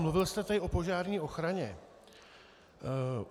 Mluvil jste tady o požární ochraně.